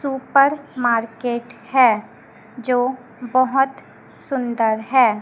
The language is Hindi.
सुपर मार्केट है जो बहोत सुंदर है।